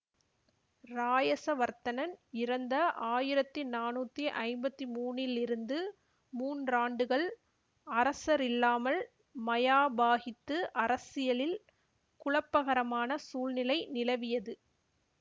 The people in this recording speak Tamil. இராயசவர்த்தனன் இறந்த ஆயிரத்தி நானூத்தி ஐம்பத்தி மூனிலிருந்து மூன்றாண்டுகள் அரசரில்லாமல் மயாபாகித்து அரசியலில் குழப்பகரமான சூழ்நிலை நிலவியது